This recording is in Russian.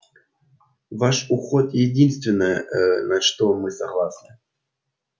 ваш уход единственное на что мы согласны